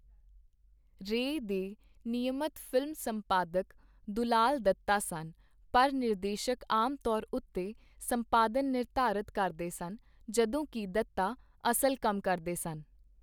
ਰੇਅ ਦੇ ਨਿਯਮਤ ਫ਼ਿਲਮ ਸੰਪਾਦਕ ਦੁਲਾਲ ਦੱਤਾ ਸਨ, ਪਰ ਨਿਰਦੇਸ਼ਕ ਆਮ ਤੌਰ ਉੱਤੇ ਸੰਪਾਦਨ ਨਿਰਧਾਰਤ ਕਰਦੇ ਸਨ, ਜਦੋਂ ਕਿ ਦੱਤਾ ਅਸਲ ਕੰਮ ਕਰਦੇ ਸਨ।